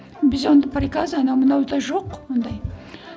біз онда приказ анау мынау да жоқ ондай